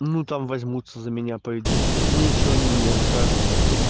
ну там возьмутся за меня пойдут ну и что они мне скажут